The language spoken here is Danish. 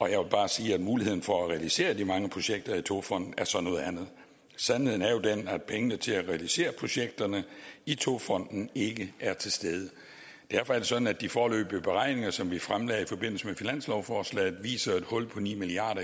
jeg vil bare sige at muligheden for at realisere de mange projekter i togfonden så er noget andet sandheden er jo den at pengene til at realisere projekterne i togfonden ikke er til stede derfor er det sådan at de foreløbige beregninger som vi fremlagde i forbindelse med finanslovsforslaget viser et hul på ni milliard